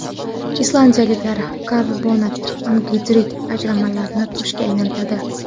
Islandiyaliklar karbonat angidrid ajralmalarini toshga aylantirdi.